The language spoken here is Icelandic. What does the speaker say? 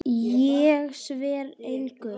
Ég svara engu.